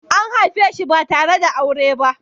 An haife shi ba tare da aure ba.